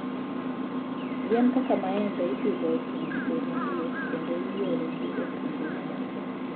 Yien kaka maembe ipidho e pinje ma liet, kendo iorogi e pinje mamoko.